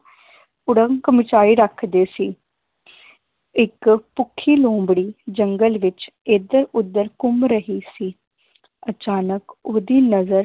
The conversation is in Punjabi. ਕੁੜੰਕ ਮਚਾਈ ਰੱਖਦੇ ਸੀ ਇੱਕ ਭੁੱਖੀ ਲੋਮੜੀ ਜੰਗਲ ਵਿਚ ਏਧਰ ਓਧਰ ਘੁੰਮ ਰਹੀ ਸੀ ਅਚਾਨਕ ਓਹਦੀ ਨਜ਼ਰ